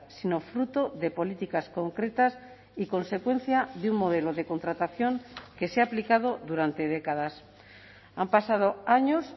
sino fruto de políticas concretas y consecuencia de un modelo de contratación que se ha aplicado durante décadas han pasado años